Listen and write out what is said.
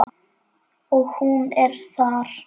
Og hún er þar.